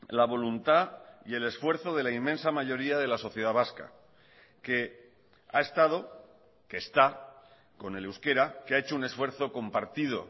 la voluntad y el esfuerzo de la inmensa mayoría de la sociedad vasca que ha estado que está con el euskera que ha hecho un esfuerzo compartido